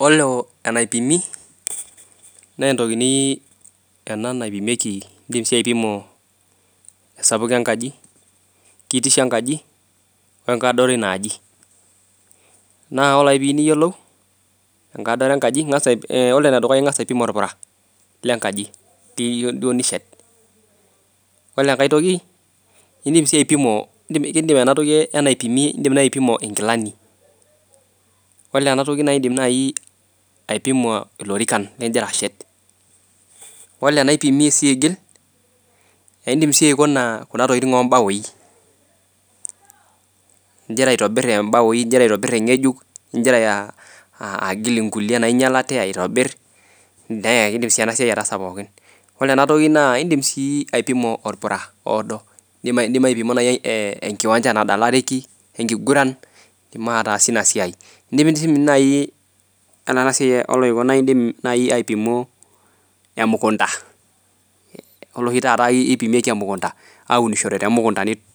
Olo enaipimi naa intokitin ena naipimieki esapuko engaji , kitisho enkaji , wengadoro einaaji, naa ore ake pee iyiolou enkadoro enkaji ore ene dukuya naa ing'as aipim orpura lengaji , ore enkai toki naa idim sii aipimo inkilani ore enatoki naa idim aipimo ilorikan ligira ashet ore enaipimi sii aigil naa idim sii aipima ibaui igira aitobir ibaoi igira aitobir eng'ejuk , igira aagil inkulie naaing'ialate aitobir naa kidim sii enasiai ataasa pooki ore enkaitoki naa idim sii aipima orpura oodo , idim aipima naaji enkiwanja nadalareki ekiguran , enaa enasiai oolairemok naa idimidimi naa aipimo emukunda ore oshi tata naa kipimieki emukunda aunishore